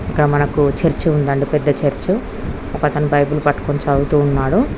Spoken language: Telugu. ఇక్కడ మనకు చర్చి ఉంది అండి పెద్ద చర్చి ఒక అతను బైబిల్ పట్టుకొని చదువుతు ఉన్నాడు.